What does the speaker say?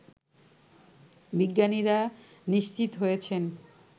বিজ্ঞানীরা নিশ্চিত হয়েছেন